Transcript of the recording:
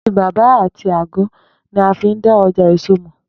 Àtíbàbà àti àgó̩ ni a fi n dá o̩jà èso mò̩